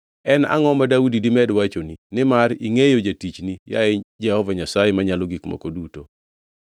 “En angʼo ma Daudi dimed wachoni? Nimar ingʼeyo jatichni, yaye Jehova Nyasaye Manyalo Gik Moko Duto.